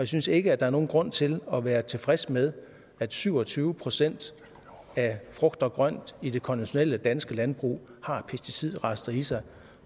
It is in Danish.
synes ikke at der er nogen grund til at være tilfreds med at syv og tyve procent af frugt og grønt i det konventionelle danske landbrug har pesticidrester i sig